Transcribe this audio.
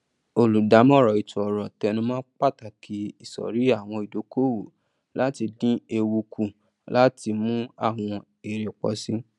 olùdámọràn etoọrọ tẹnumọ pàtàkì isọrí àwọn ìdókòwò láti dín ewu kù àti láti mú àwọn èrè pọ síi